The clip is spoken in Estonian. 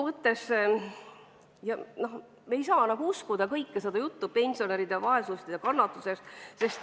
Me ei saa uskuda kogu nende juttu pensionäride vaesusest ja kannatustest.